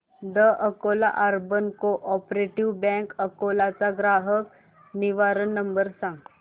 the Akola urban cooperative bank Akola चा ग्राहक निवारण नंबर सांग